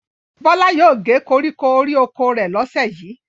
Bọ́lá yóò gé koríko orí oko rẹ̀ lọ́sẹ̀ yìí.